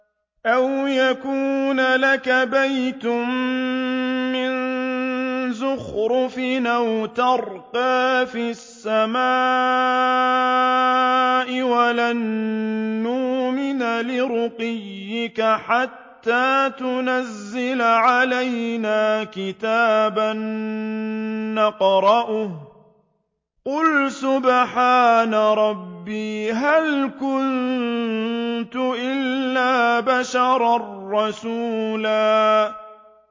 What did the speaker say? أَوْ يَكُونَ لَكَ بَيْتٌ مِّن زُخْرُفٍ أَوْ تَرْقَىٰ فِي السَّمَاءِ وَلَن نُّؤْمِنَ لِرُقِيِّكَ حَتَّىٰ تُنَزِّلَ عَلَيْنَا كِتَابًا نَّقْرَؤُهُ ۗ قُلْ سُبْحَانَ رَبِّي هَلْ كُنتُ إِلَّا بَشَرًا رَّسُولًا